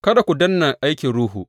Kada ku danne aikin Ruhu.